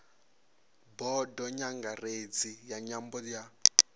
bodo nyangaredzi ya nyambo ya